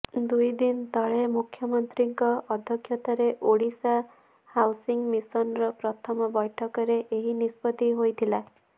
ଦୁଇ ଦିନ ତଳେ ମୁଖ୍ୟମନ୍ତ୍ରୀଙ୍କ ଅଧ୍ୟକ୍ଷତାରେ ଓଡ଼ିଶା ହାଉସିଂ ମିଶନର ପ୍ରଥମ ବୈଠକରେ ଏହି ନିଷ୍ପତ୍ତି ହୋଇଥିଲା